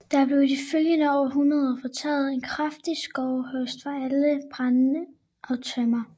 Der blev i de følgende århundreder foretaget en kraftig skovhugst for at skaffe brænde og tømmer